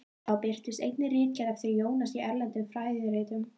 Þá birtust einnig ritgerðir eftir Jónas í erlendum fræðiritum.